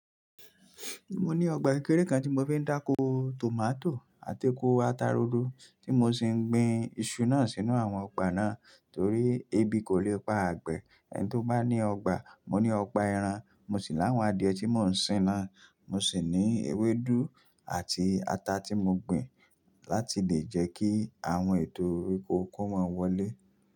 Mo ní ọgbà ìkéré kan tí mo fi ń dáko tòmátò àti kó ata ro do tí mo sì ń gbin iṣu náà sínú àwọn ọgbà náà torí ebi kò lè pa àgbẹ̀. Ẹni tí ó bá ní ọgbà, mo ní ọgbà ẹran, mo sì láwọn adìẹ tí mò ń sìn náà. Mo sì ní ewédú àti ata tí mo gbin láti lè jẹ́ kí àwọn ètò orí oko kó máa wọlé.